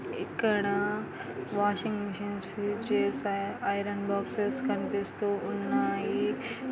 ఇక్కడ washing machine iron box కనిపిస్తున్నాయి.